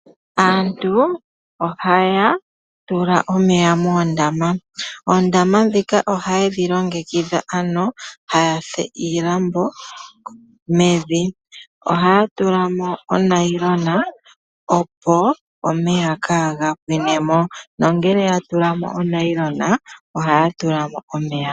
Aantu ohaya tula omeya moondama. Oondama ndhika ohaye dhi longekidha taya fulu iilambo mevi. Ohaya tula mo onayilona, opo omeya kaaga pwine mo. Ngele ya tula mo onayilona ohaya tula mo omeya.